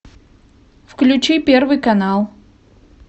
включи первый канал